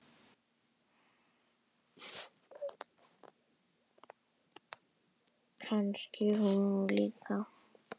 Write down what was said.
Kannski hún líka?